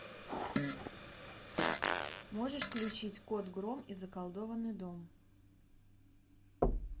можешь включить кот гром и заколдованный дом